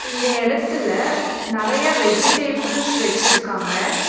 இந்த எடத்துல நெறைய வெஜிடபிள்ஸ் வெச்சிருக்காங்க.